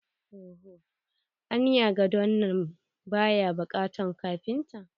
Anya gadon nan baya bukatan kafinta?